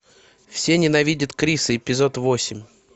все ненавидят криса эпизод восемь